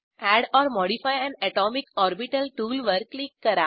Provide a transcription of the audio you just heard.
add or modify an atomic orbital टूलवर क्लिक करा